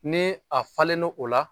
Ni a falen' o la